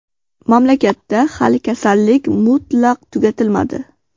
Mamlakatda hali kasallik mutlaq tugatilmadi.